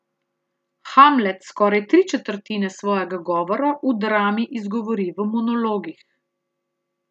Hamlet skoraj tri četrtine svojega govora v drami izgovori v monologih.